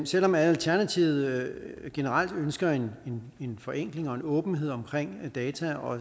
selv om alternativet generelt ønsker en en forenkling og en åbenhed omkring data og